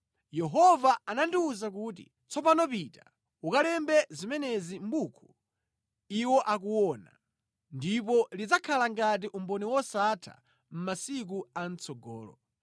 Yehova anandiwuza kuti, “Tsopano pita, ukalembe zimenezi mʼbuku iwo akuona ndipo lidzakhala ngati umboni wosatha masiku a mʼtsogolo.